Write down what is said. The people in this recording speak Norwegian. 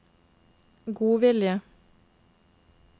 godvilje